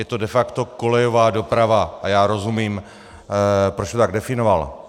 Je to de facto kolejová doprava a já rozumím, proč to tak definoval.